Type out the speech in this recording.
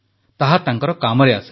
ତାହା ତାଙ୍କର କାମରେ ଆସିଲା